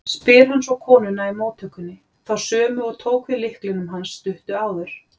spyr hann svo konuna í móttökunni, þá sömu og tók við lyklinum hans stuttu áður.